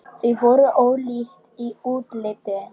Þau voru ólík í útliti.